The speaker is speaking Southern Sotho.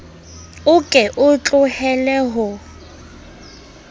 o ke o tlohelle ho